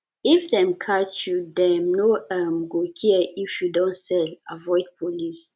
if dem catch you dem no um go care if you don sell avoid police